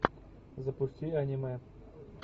запусти аниме